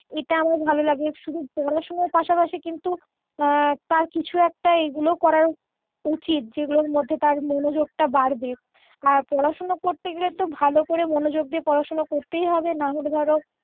এটা আমার ভালো লাগে শুধু পড়াশুনোর কিন্তু তার কিছু একটা এগুলোও করা উচিৎ যেগুলোর মধ্যে তার মনোযোগটা বাড়বে আর পড়াশুনো করতে গেলে তো ভালো করে মনোযোগ দিয়ে পড়াশুনো করতেই হবে নাহলে ধরো